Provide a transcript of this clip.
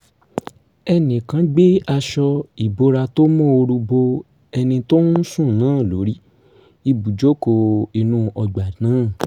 ẹnì kan gbé aṣọ ìbora tó móoru bo ẹni tó ń sùn náà lórí ibùjóko inú ọgbà náà